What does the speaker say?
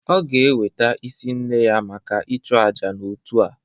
Ọ ga-eweta isi nne ya maka ịchụ àjà n'otu a